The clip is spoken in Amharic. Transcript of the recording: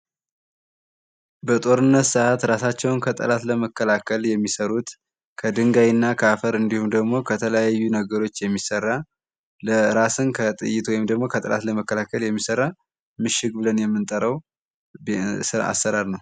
በጦርነት ሰአት እራሳቸውን ከጦርነት ለመከላከል የሚሰሩት ከድንጋይና ከአፈር እንዲሁም ደግሞ ከተለያዩ ነገሮች የሚሰራ ራስን ከጥይት ወይም ደግሞ ከጥላት ለመከላከል የሚሰራ ምሽግ ብለን የምንጠራው አሰራር ነው።